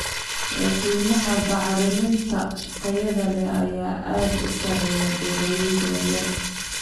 Qiimaha bacriminta tayada leh ayaa aad u sarreeya beeralayda yaryar.